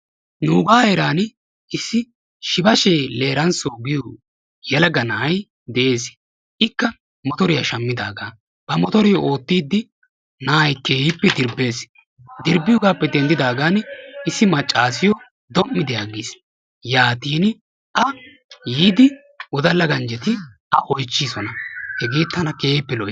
Nuuga heeran issi Shibashe Leransso yaagiyo yelaga na'ay de'ees, ikka motoriya shammidaaga, ha motoriyo oottide na'ay keehippe dirbbees. dirbbiyoogappe denddidaagan issi maccassiyo dom''idi aggiis. yaatin a yiidi wodalla ganjjetti yiidi oychchisoona. hegee tana keehippe lo''iis.